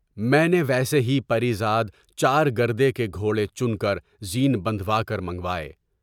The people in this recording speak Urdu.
میں نے ویسے ہی پریزاد چار گردے کے گھوڑے چنکر کر زین باندھوا کر منگوائے۔